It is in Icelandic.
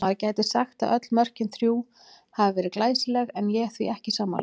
Maður gæti sagt að öll mörkin þrjú hafi verið glæsileg en ég því ekki sammála.